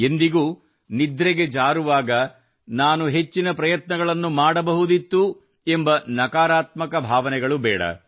ಎಂದಿಗೂ ನಿದ್ರೆಗೆ ಜಾರುವಾಗ ನಾನು ಹೆಚ್ಚಿನ ಪ್ರಯತ್ನಗಳನ್ನು ಮಾಡಬಹುದಿತ್ತು ಎಂಬ ನಕಾರಾತ್ಮಕ ಭಾವನೆಗಳು ಬೇಡ